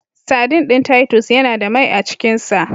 Saɗin ɗin Titus Yana da mai a cikin sa.